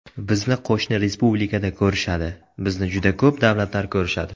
Bizni qo‘shni respublikada ko‘rishadi, bizni juda ko‘p davlatlar ko‘rishadi.